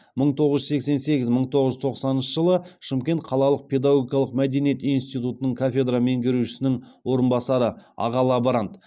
мың тоғыз жүз сексен сегіз мың тоғыз жүз тоқсаныншы жылы шымкент қалалық педагогикалық мәдениет институтының кафедра меңгерушісінің орынбасары аға лаборант